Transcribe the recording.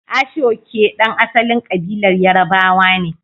Aso-oke, ɗan asalin kabilar Yarbawa ne.